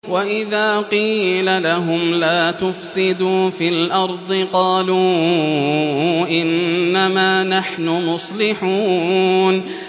وَإِذَا قِيلَ لَهُمْ لَا تُفْسِدُوا فِي الْأَرْضِ قَالُوا إِنَّمَا نَحْنُ مُصْلِحُونَ